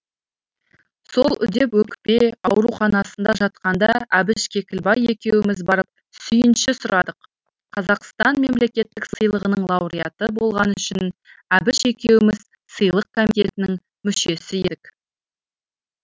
сол үдеп өкпе ауруханасында жатқанда әбіш кекілбай екеуміз барып сүйінші сұрадық қазақстан мемлекеттік сыйлығының лауреаты болғаны үшін әбіш екеуміз сыйлық комитетінің мүшесі едік